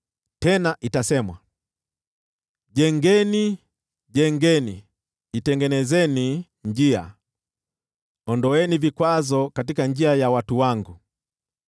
Tena itasemwa: “Jengeni, jengeni, itengenezeni njia! Ondoeni vikwazo katika njia ya watu wangu.”